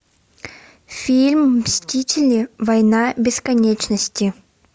фильм мстители война бесконечности